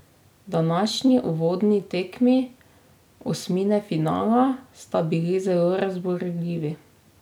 Današnji uvodni tekmi osmine finala sta bili zelo razburljivi.